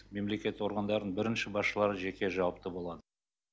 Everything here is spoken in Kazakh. мемлекеттік органдардың бірінші басшылары жеке жауапты болады